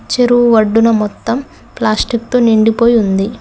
చెరువు వడ్డున మొత్తం ప్లాస్టిక్ తో నిండిపోయి ఉంది.